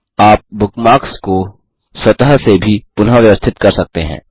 आप बुकमार्क्स को स्वतः से भी पुनःव्यवस्थित कर सकते हैं